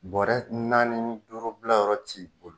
Bɔrɛ naani, duuru bilayɔrɔ t'i